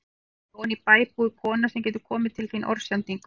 Ég hef heyrt að oní bæ búi kona sem getur komið til þín orðsendingu.